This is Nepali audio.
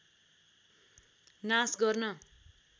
नाश गर्न